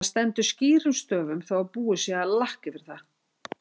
Það stendur skýrum stöfum þó að búið sé að lakka yfir það!